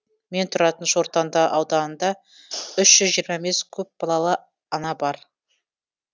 мен тұратын шортанды ауданында үш жүз жиырма бес көпбалалы ана бар